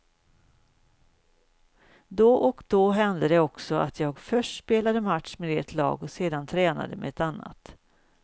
Då och då hände det också att jag först spelade match med ett lag och sen tränade med ett annat.